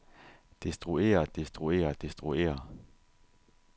destruere destruere destruere